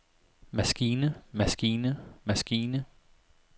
maskine maskine maskine